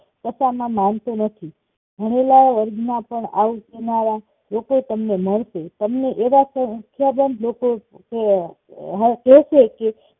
કશા માં માનતો નથી ભણેલા વર્ગ માં પણ એવું કેનારા લોકો તમને મળશે તમને એવા સંખ્યાજાન લોકો કેશે કે